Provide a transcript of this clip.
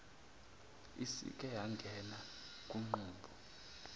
isike yangena kunqubo